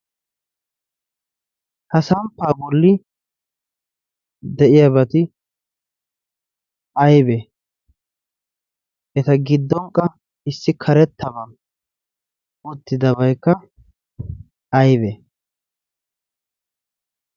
ha samppaa bolli de'iyaabaati aybee eta giddonkka issi karettaba oottidabaykka aybee